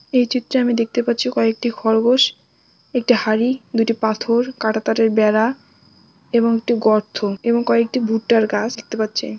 এই চিত্রে আমি দেখতে পাচ্ছি কয়েকটি খরগোশ একটি হাড়ি দুটি পাথর কাঁটা তারের বেড়া এবং একটি গর্ত এবং কয়েকটি ভুট্টার গাছ দেখতে পাচ্ছি।